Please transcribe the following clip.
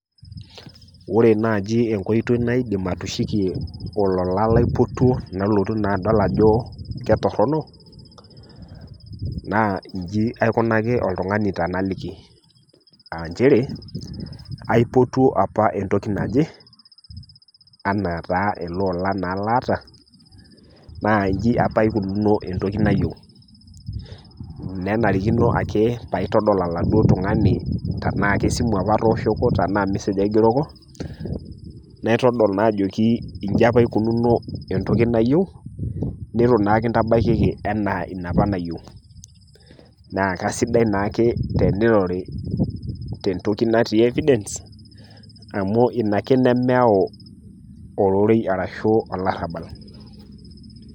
Ore naaji enkoitoi naidim atishukie olola laipotuo nalotu naa adol ajo ketorino, naa inchi aikonaki oltung'ani tenaliki, nchere aipotuo opa entoki naje, anaa taa ele ola laata, naa inchi opa eikununo entoki opa nayiou, nenarikino paitadol oladuo tung'ani tanaa kesimu opa atooshoki, tanaa kemesej apa aigeroko, naitodol naa ajoki inchi opa eikununo entoki nayieu, neitu naa kintabaikiki anaa entoki apa nayiou. Naa keaisidai naake teneirori tentoki natii evidence amu Ina ake nemeyau olorei ashu olarabal.